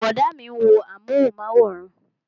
Brọ̀dá mi ń wo amúhùnmáwòrán